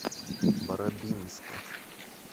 барабинска